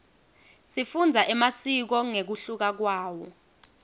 sifundza emasiko ngekuhluka kwawo